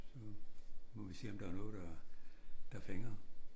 Så må vi se om der er noget der der fænger